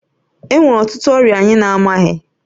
Enwere ọtụtụ ọrịa anyị na-amaghị